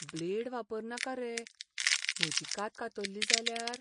Blade वापरनाका रे. म्हजी कात कातल्ली जाल्यार?